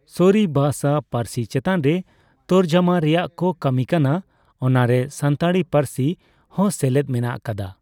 ᱥᱚᱨᱤ ᱵᱟᱨ ᱥᱟ. ᱯᱟᱨᱥᱤ ᱪᱮᱛᱟᱱ ᱨᱮ ᱛᱚᱨᱡᱚᱢᱟ ᱨᱮᱭᱟᱜ ᱠᱚ ᱠᱟᱹᱢᱤ ᱠᱟᱱᱟ ᱾ ᱚᱱᱟᱨᱮ ᱥᱟᱱᱛᱟᱲᱤ ᱯᱟᱹᱨᱥᱤ ᱦᱚᱸ ᱥᱮᱞᱮᱫ ᱢᱮᱱᱟᱜ ᱠᱟᱫᱟ᱾